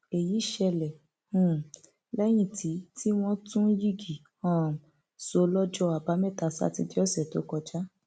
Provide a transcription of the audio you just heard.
èyí ṣẹlẹ um lẹyìn tí tí wọn tún yigi um sọ lọjọ àbámẹta sátidé ọsẹ tó kọjá